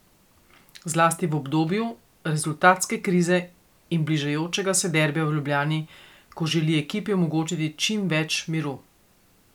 Zlasti v obdobju rezultatske krize in bližajočega se derbija v Ljubljani, ko želi ekipi omogočiti čim več miru.